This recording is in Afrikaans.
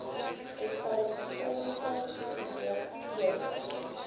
respiratoriese sindroom ears